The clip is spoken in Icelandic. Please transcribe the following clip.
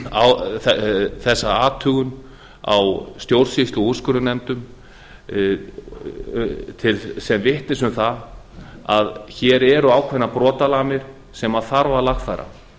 á þessa athugun á stjórnsýslu og úrskurðarnefndum sem vitni um það að hér eru ákveðnar brotalamir sem þarf að lagfæra